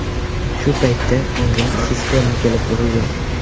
Shu paytda unga sisterna kelib urilgan.